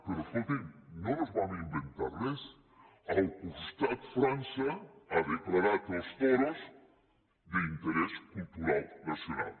però escolti’m no ens vam inventar res al costat frança ha declarat els toros d’interès cultural nacional